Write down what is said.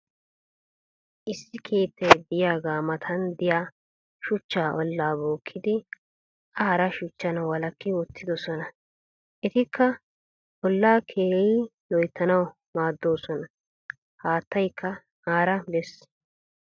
issi keettay diyaaga matan diya shuchcha olaa bookidi a hara shuchchan walakki wottidosona. etikka olaa keehi loyttanawu maadoosona. haattaykka aara bes.